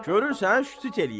Görürsən, şıtıq eləyir.